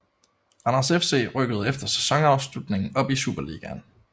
Randers FC rykkede efter sæsonafslutningen op i Superligaen